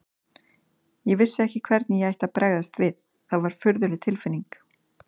Ég vissi ekki hvernig ég ætti að bregðast við, það var furðuleg tilfinning.